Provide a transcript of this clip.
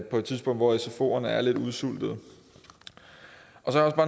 på et tidspunkt hvor sfoerne er lidt udsultede